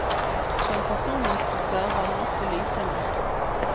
Som personinstruktør var hun også lysende.